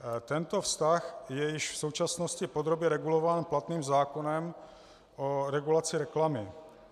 Tento vztah je již v současnosti podrobně regulován platným zákonem o regulaci reklamy.